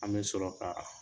An bɛ sɔrɔ ka